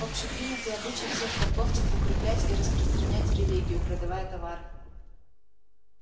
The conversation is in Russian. общепринятый обычай всех торговцев укреплять и распространять религию продавая товары